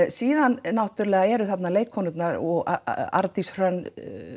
síðan náttúrulega eru þarna leikkonurnar og Arndís Hrönn